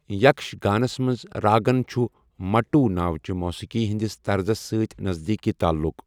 یَکش گَانس منٛز راگن چُھ مَٹو ناو چہِ موسیٖقی ہِنٛدِس طرزس سۭتۍ نزدیٖکی تعلُق ۔